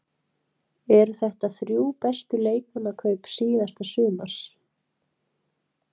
Eru þetta þrjú bestu leikmannakaup síðasta sumars?